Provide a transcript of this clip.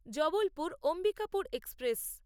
Jabalpur Ambikapur express